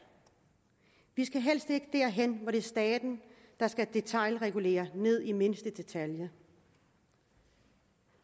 vi skal helst ikke derhen hvor det er staten der skal regulere ned i den mindste detalje